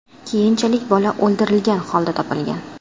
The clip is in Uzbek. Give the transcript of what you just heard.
Keyinchalik bola o‘ldirilgan holda topilgan.